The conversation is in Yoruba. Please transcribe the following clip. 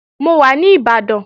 Mò wa ní Ìbàdàn